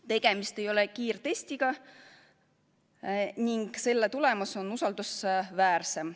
Tegemist ei ole kiirtestiga ning selle tulemus on usaldusväärsem.